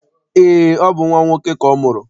Eé, ọ bụ nnwa nwoke ka ọ mụrụ.